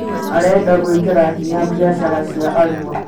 Arenda gwĩkĩra hinya biacara cia Arua